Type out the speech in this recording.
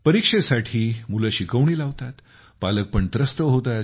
परीक्षेसाठी मुले शिकवणी लावतात पालक पण त्रस्त होतात